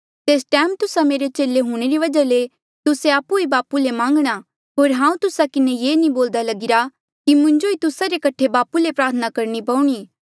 तेस टैम तुस्सा मेरा चेले हूंणे री वजहा ले तुस्सा आपु ही बापू ले मांगणा होर हांऊँ तुस्सा किन्हें ये नी बोल्दा कि मुंजो ही तुस्सा रे कठे बापू ले प्रार्थना करणी पोणी